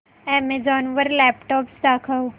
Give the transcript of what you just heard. Amazon वर laptops दाखव